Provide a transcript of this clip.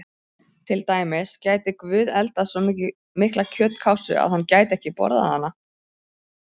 Til dæmis: Gæti Guð eldað svo mikla kjötkássu að hann gæti ekki borðað hana?